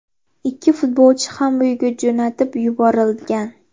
Ikki futbolchi ham uyiga jo‘natib yuborilgan.